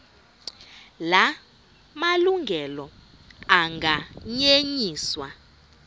la malungelo anganyenyiswa